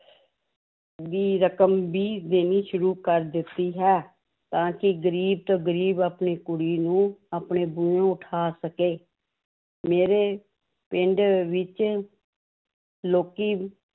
ਦੀ ਰਕਮ ਵੀ ਦੇਣੀ ਸ਼ੁਰੂ ਕਰ ਦਿੱਤੀ ਹੈ ਤਾਂ ਕਿ ਗ਼ਰੀਬ ਤੋਂ ਗ਼ਰੀਬ ਆਪਣੀ ਕੁੜੀ ਨੂੰ ਆਪਣੇ ਉਠਾ ਸਕੇ ਮੇਰੇ ਪਿੰਡ ਵਿੱਚ ਲੋਕੀ